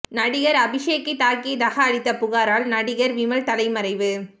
நடிகர் அபிஷேக்கை தாக்கியதாக அளித்த புகாரால் நடிகர் விமல் தலைமறைவு